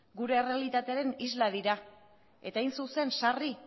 gure errealitatearen isla dira eta hain zuzen sarri